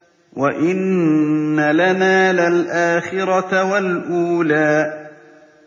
وَإِنَّ لَنَا لَلْآخِرَةَ وَالْأُولَىٰ